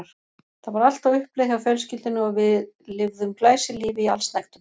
Það var allt á uppleið hjá fjölskyldunni og við lifðum glæsilífi í allsnægtum.